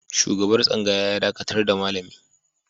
Shugaban tsangaya ya dakatar da malami.